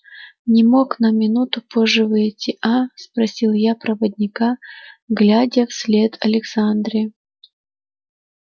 не мог на минуту позже выйти а спросил я проводника глядя вслед александре